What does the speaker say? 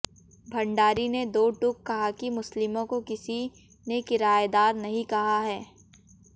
भंडारी ने दो टूक कहा कि मुस्लिमों को किसी ने किराएदार नहीं कहा है